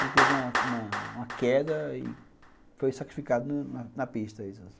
Ele teve uma uma uma queda e foi sacrificado no na pista.